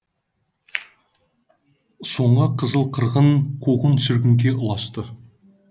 соңы қызыл қырғын қуғын сүргінге ұласты